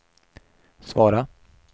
svara